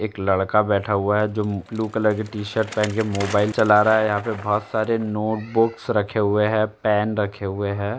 एक लड़का बैठा हुआ है जो ब्लू कलर की टी शर्ट पहन कर मोबाईल चला रहा है। यहाँ बहोत सारे नोटबुक्स रखे हुए हैं पेन रखे हुए हैं।